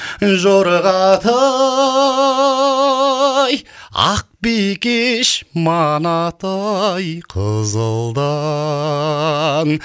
жорға тай ақ бикеш манатай қызылдан